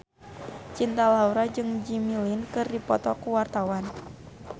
Cinta Laura jeung Jimmy Lin keur dipoto ku wartawan